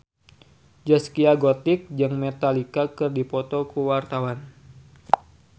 Zaskia Gotik jeung Metallica keur dipoto ku wartawan